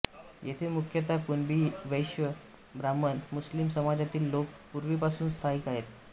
येथे मुख्यतः कुणबी वैश्य ब्राह्मण मुस्लिम समाजातील लोक पूर्वीपासून स्थायिक आहेत